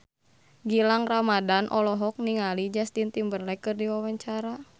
Gilang Ramadan olohok ningali Justin Timberlake keur diwawancara